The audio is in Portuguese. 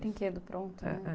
Brinquedo pronto, né?, eh...